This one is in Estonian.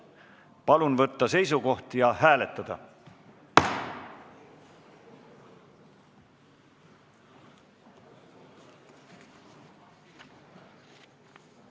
Palun võtta seisukoht ja hääletada!